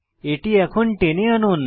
এটি এখন টেনে আনুন